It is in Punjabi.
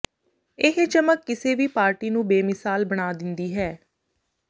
ਇਹ ਚਮਕ ਕਿਸੇ ਵੀ ਪਾਰਟੀ ਨੂੰ ਬੇਮਿਸਾਲ ਬਣਾ ਦਿੰਦੀ ਹੈ